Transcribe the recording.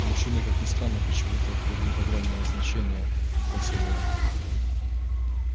мужчины как ни странно почему-то придают огромное значение поцелуям